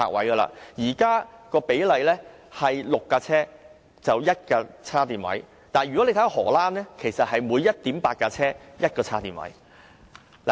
現時，每6輛車設有1個充電位，但在荷蘭，是每 1.8 輛車設有1個充電位。